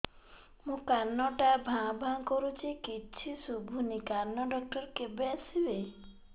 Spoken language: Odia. ମୋ କାନ ଟା ଭାଁ ଭାଁ କରୁଛି କିଛି ଶୁଭୁନି କାନ ଡକ୍ଟର କେବେ ଆସିବେ